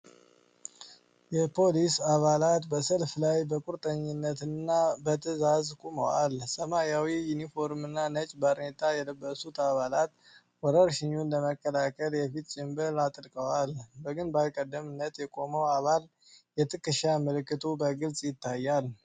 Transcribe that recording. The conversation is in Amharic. የፖሊስ አባላት በሰልፍ ላይ በቁርጠኝነት እና በትዕዛዝ ቆመዋል። ሰማያዊ ዩኒፎርም እና ነጭ ባርኔጣ የለበሱት አባላት፣ ወረርሽኙን ለመከላከል የፊት ጭንብል አጥልቀዋል። በግንባር ቀደምት የቆመው አባል የትከሻ ምልክቱ በግልጽ ይታያል።